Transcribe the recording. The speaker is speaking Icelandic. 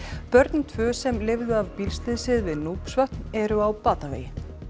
börnin tvö sem lifðu af bílslysið við eru á batavegi